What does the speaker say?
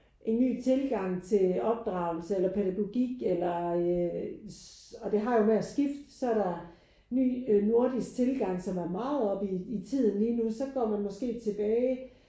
En ny tilgang til opdragelse eller pædagogik eller øh og det har jo med at skifte. Så er der ny nordisk tilgang som er meget oppe i tiden lige nu så går man måske tilbage